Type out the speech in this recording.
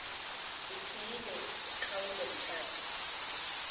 uthiyile uqhawulo mtshato